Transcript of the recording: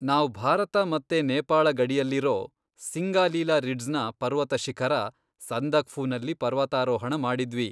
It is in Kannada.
ನಾವ್ ಭಾರತ ಮತ್ತೆ ನೇಪಾಳ ಗಡಿಯಲ್ಲಿರೋ ಸಿಂಗಾಲಿಲಾ ರಿಡ್ಜ್ನ ಪರ್ವತ ಶಿಖರ ಸಂದಕ್ಫುನಲ್ಲಿ ಪರ್ವತಾರೋಹಣ ಮಾಡಿದ್ವಿ.